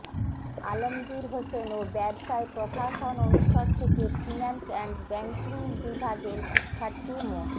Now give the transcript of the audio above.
আলমগীর হোসেন ও ব্যবসায় প্রশাসন অনুষদ থেকে ফিন্যান্স অ্যান্ড ব্যাংকিং বিভাগের শিক্ষার্থী মো